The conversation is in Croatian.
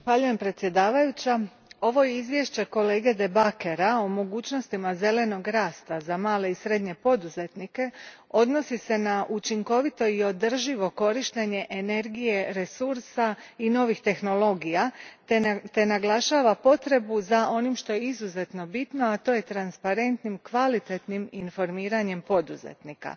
Gospođo predsjednice, ovo izvješće kolege De Backera o mogućnostima zelenog rasta za male i srednje poduzetnike odnosi se na učinkovito i održivo korištenje energije resursa i novih tehnologija te naglašava potrebu za onim što je izuzetno bitno, a to je transparentno, kvalitetno informiranje poduzetnika.